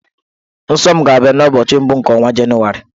Nsọ m ga-abịa n'ụbọchị mbụ nke ọnwa Jenụwarị.